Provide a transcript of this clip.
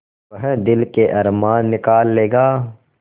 वह दिल के अरमान निकाल लेगा